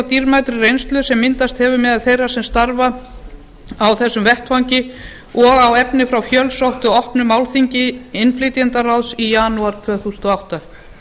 dýrmætri reynslu sem myndast hefur meðal þeirra sem starfa á þessum vettvangi og á efni frá fjölsóttu opnu málþingi innflytjendaráðs í janúar tvö þúsund og átta